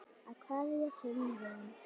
Að kveðja sinn vin